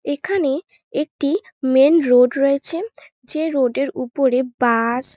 এখানে একটি main road রয়েছে যে রোড -এর উপরে বাস --